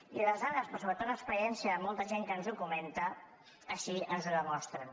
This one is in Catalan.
i les dades però sobretot l’experiència de molta gent que ens ho comenta així ens ho demostren